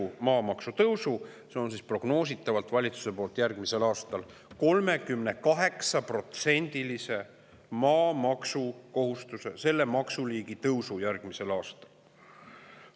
Seda liiki maksu tõus maamaksukohustusega on järgmisel aastal valitsuse prognoosi järgi 38%.